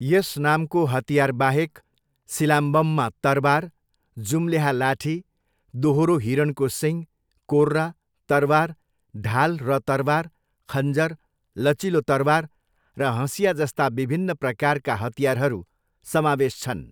यस नामको हतियारबाहेक, सिलाम्बममा तरवार, जुम्ल्याहा लाठी, दोहोरो हिरणको सिङ, कोर्रा, तरवार, ढाल र तरवार, खञ्जर, लचिलो तरवार र हँसिया जस्ता विभिन्न प्रकारका हतियारहरू समावेश छन्।